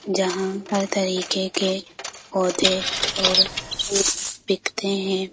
जहाँ हर तरीके के पौधे और फूल बिकते हैं।